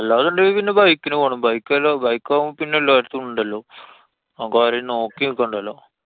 അല്ലാന്നുണ്ടെങ്കി പിന്നെ bike നു പോണം. bike അല്ലോ~ bike ആവുമ്പോ പിന്നെ എല്ലാരുടടത്തും ഇണ്ടല്ലോ. നമുക്കാരേം നോക്കി നിക്കണ്ടല്ലോ.